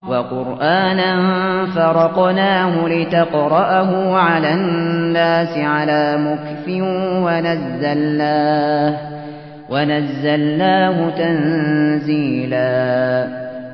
وَقُرْآنًا فَرَقْنَاهُ لِتَقْرَأَهُ عَلَى النَّاسِ عَلَىٰ مُكْثٍ وَنَزَّلْنَاهُ تَنزِيلًا